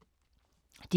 DR K